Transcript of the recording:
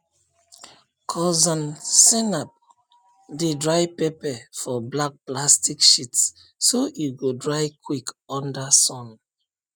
cousin zainab dey dry pepper for black plastic sheets so e go dry quick under sun